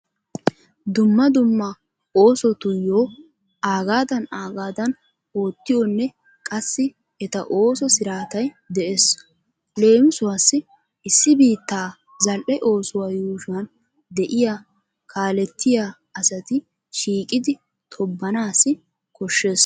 Dumma dumma oosotuyyo aagaadan aagaadan oottiyonne qassi eta ooso siraatayi de'ees. Leemisuwassi issi biittaa zal''e oosuwa yuushuwan de'iya kaalettiya asati shiiqidi tobbanaassi koshshees.